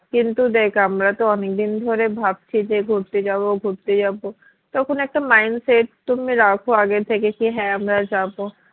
কিন্তু দ্যাখ আমরা তো অনেকদিন ধরে ভাবছি যে ঘুরতে যাবো ঘুরতে যাবো তখন একটা mind set তুমি রাখো আগে থেকে কি হ্যাঁ আমরা যাবো